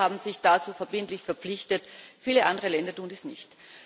Die Europäer haben sich dazu verbindlich verpflichtet, viele andere Länder tun dies nicht.